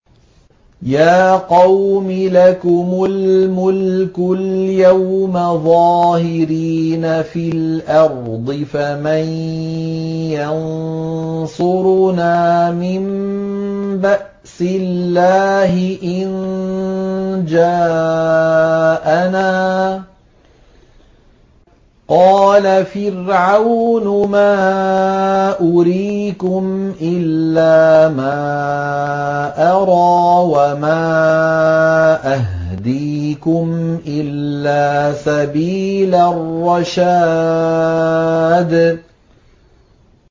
يَا قَوْمِ لَكُمُ الْمُلْكُ الْيَوْمَ ظَاهِرِينَ فِي الْأَرْضِ فَمَن يَنصُرُنَا مِن بَأْسِ اللَّهِ إِن جَاءَنَا ۚ قَالَ فِرْعَوْنُ مَا أُرِيكُمْ إِلَّا مَا أَرَىٰ وَمَا أَهْدِيكُمْ إِلَّا سَبِيلَ الرَّشَادِ